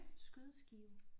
Skydeskiver